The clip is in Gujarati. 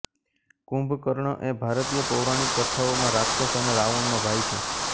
કુંભકર્ણ એ ભારતીય પૌરાણિક કથાઓમાં રાક્ષસ અને રાવણનો ભાઈ છે